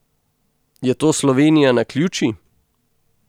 Je to Slovenija naključij?